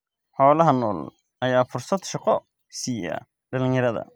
Xoolaha nool ayaa fursad shaqo siiya dhalinyarada.